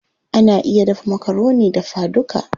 Ana iya dafa makaroni dafa duka.